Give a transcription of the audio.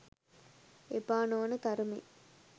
එපා නොවන තරමේ